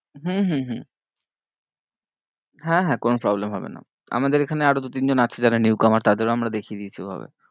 হম হম হম হ্যাঁ হ্যাঁ কোনো problem হবে না, আমাদের এখানে আরো দু তিন জন আছে যারা new comer তাদের ও আমরা দেখিয়ে দিতে হবে।